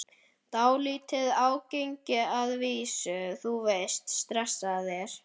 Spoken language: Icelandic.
Dálítið ágengir að vísu, þú veist, stressaðir.